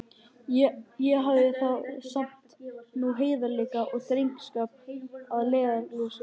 Ég hafði þá sem nú heiðarleika og drengskap að leiðarljósi.